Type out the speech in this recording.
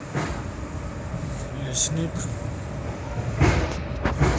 лесник